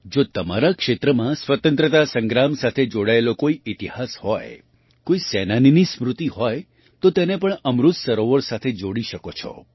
જો તમારા ક્ષેત્રમાં સ્વતંત્રતા સંગ્રામ સાથે જોડાયેલો કોઈ ઇતિહાસ હોય કોઈ સેનાનીની સ્મૃતિ હોય તો તેને પણ અમૃત સરોવર સાથે જોડી શકો છો